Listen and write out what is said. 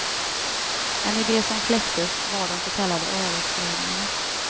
En idé som kläcktes var de så kallade öresföreningarna.